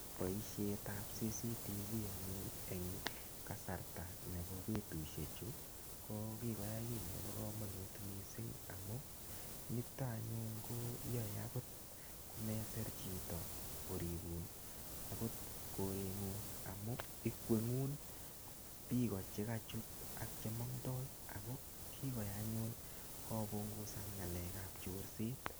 Boisietab CCTV anyun eng kasarta nebo betusiechu ko kikoyai ki nebo kamanut mising amu nito anyun koyae agot komesir chito koribun agot korengung amun ikwengung biiko che kochut agot chemondoi ago kikoyai anyun kopungusan ngalekab chorset.